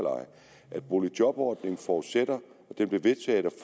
at boligjobordningen forudsætter